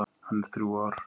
Hann er þrjú ár.